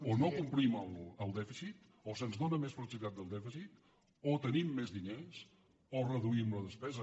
o no complim el dèficit o se’ns dóna més flexibilitat del dèficit o tenim més diners o reduïm la despesa